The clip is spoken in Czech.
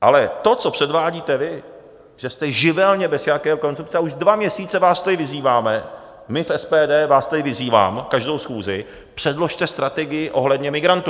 Ale to, co předvádíte vy, že jste živelně bez jakékoli koncepce - a už dva měsíce vás tady vyzýváme, my v SPD vás tady vyzýváme každou schůzi: Předložte strategii ohledně migrantů.